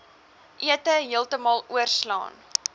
ete heeltemal oorslaan